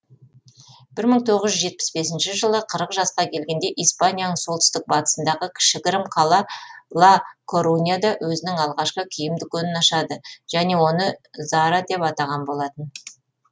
бір мың тоғыз жүз жетпіс бесінші жылы қырық жасқа келгенде испанияның солтүстік батысындағы кішігірім қала ла коруньяда өзінің алғашқы киім дүкенін ашады және оны зара деп атаған болатын